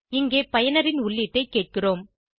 இங்கே பயனரின் உள்ளீட்டை கேட்கிறோம்